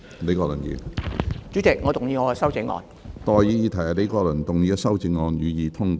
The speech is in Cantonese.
我現在向各位提出的待議議題是：李國麟議員的修正案，予以通過。